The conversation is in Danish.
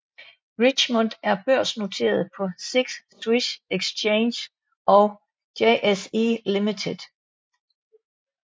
Richemont er børsnoteret på SIX Swiss Exchange og JSE Limited